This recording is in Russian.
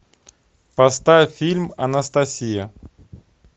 поставь фильм анастасия